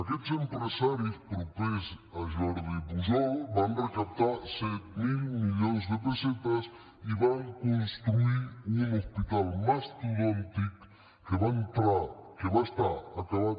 aquests empresaris propers a jordi pujol van recaptar set mil milions de pessetes i van construir un hospital mastodòntic que va estar acabat